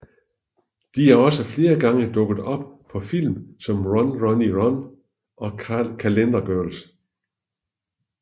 De er også flere gange dukket op på film som Run Ronnie Run og Calendar Girls